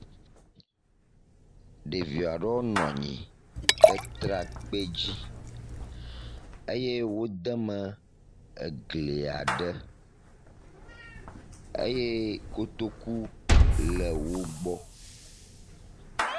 Ɖevi aɖewo nɔ anyi ɖe trakpi dzi eye wo deme egli aɖe eye kotoku le wo gbɔ.